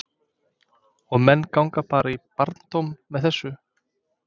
Og menn ganga bara í barndóm með þessu?